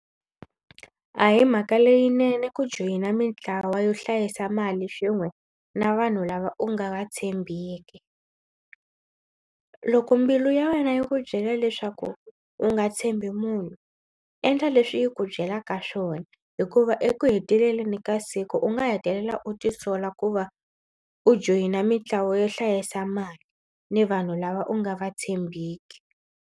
A hi mhaka leyinene ku joyina mitlawa yo hlayisa mali swin'we na vanhu lava u nga va tshembiki. Loko mbilu ya wena yi ku byela leswaku u nga tshembi munhu endla leswi yi ku byelaka swona hikuva eku heteleleni ka siku u nga hetelela u tisola ku va u joyina mitlawa yo hlayisa mali ni vanhu lava u nga va tshembiki.